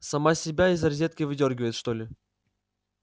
сама себя из розетки выдёргивает что ли